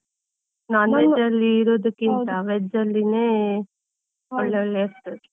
Non veg ಅಲ್ಲಿ ಇರೋದಕ್ಕಿಂತ, veg ಅಲ್ಲಿನೆ ಒಳ್ಳೆ ಒಳ್ಳೆ ಇರ್ತದೆ.